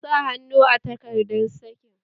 Sa hannu a takardar sakin!